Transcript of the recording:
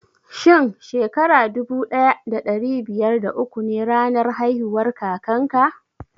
Shin Shekara dubu daya da dari biyar da uku ne ranar haihuwar kakan ka?